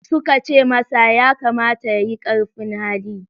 Suka ce masa, ya kamata ya yi ƙarfin hali.